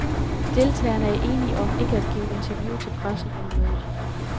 Deltagerne er enige om ikke at give interview til pressen under mødet.